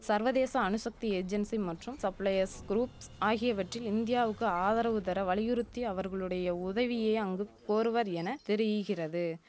சர்வதேச அணுசக்தி ஏஜென்சி மற்றும் சப்ளையஸ் குரூப்ஸ் ஆகியவற்றில் இந்தியாவுக்கு ஆதரவு தர வலியுறுத்தி அவர்களுடைய உதவியை அங்கு கோருவர் என தெரீகிறது